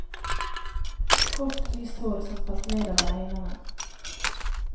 Kort, lyst hår som falt ned over øynene.